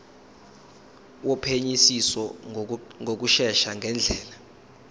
wophenyisiso ngokushesha ngendlela